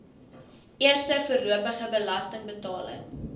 eerste voorlopige belastingbetaling